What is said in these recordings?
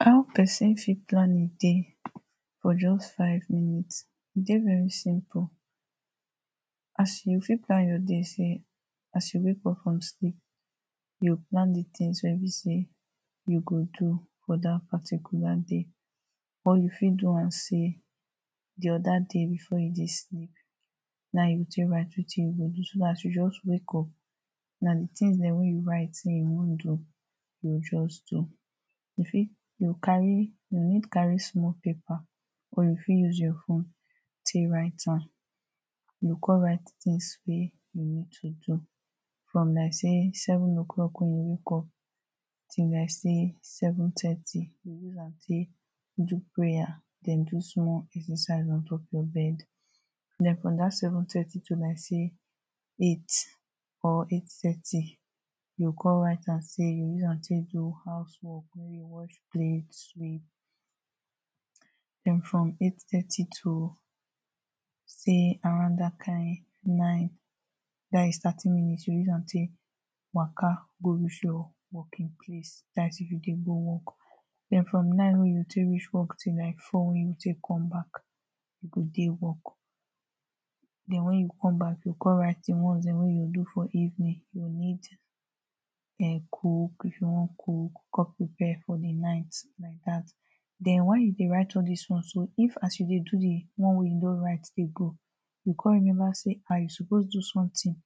how person fit plan ehm day for just five minutes, e de very simple as you fit plan your day say, as you wake up from sleep you plan the things wey be say you go do for that particular day or you fit do am say, the other day before you de sleep na ehm you go take write wetin you go do so that as you just wake up na the things them wey you write wey you wan do you go just do you fit go carry you need carry small paper or you fit use your phone take write am you go come write things wey you need to do from like say seven o clock when you wake up till like say seven thirty take do prayer then do small exercise on top of bed then from that seven thirty to like say, eight or eight thirty you go come write am say you go use am take do house work, maybe wash plate then from eight thirty to say around that kind nine that his thirty minutes you go use am take waka go reach your working place that's if you de go work then from nine wey you take reach work till like four wey you take come back you go de work then when you come back you go come write the ones them wey you go do for evening, you go need eh cook, if you wan cook come prepare for the night like that then when you de write all this ones so, if as you de do the one wey you no write de go you come remember say, hah! you suppose do something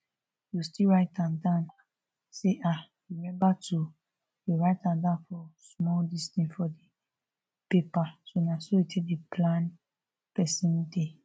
you still write am down say hah! remember to write am down for small this thing, for paper. so na so they take de plan person day.